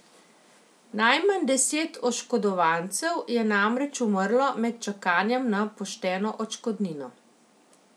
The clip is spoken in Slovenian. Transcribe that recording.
Najmanj deset oškodovancev je namreč umrlo med čakanjem na pošteno odškodnino.